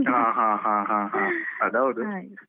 ಹ ಹ ಹ ಹ ಹ ಅದು ಹೌದು .